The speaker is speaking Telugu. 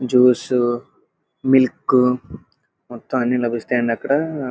జ్యూస్ మిల్క్ మొత్తం అన్ని లభిస్తాయండి అ అక్కడ --